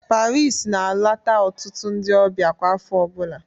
Paris na-alata ọtụtụ ndị ọbịa kwa afọ ọbụla